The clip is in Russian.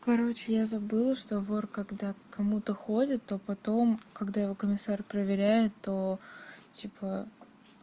короче я забыла что вор когда к кому-то ходят то потом когда его комиссару проверяет то типа